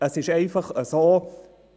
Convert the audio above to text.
Es ist einfach so: